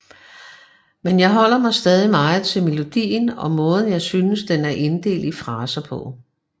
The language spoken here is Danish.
Men jeg holder mig stadig meget til melodien og måden jeg synes den er inddelt i fraser på